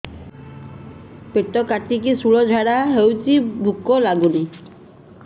ପେଟ କାଟିକି ଶୂଳା ଝାଡ଼ା ହଉଚି ଭୁକ ଲାଗୁନି